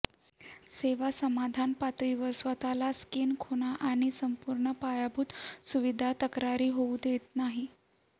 सेवा समान पातळीवर स्वतःला स्किइंग खुणा आणि संपूर्ण पायाभूत सुविधा तक्रारी होऊ देत नाही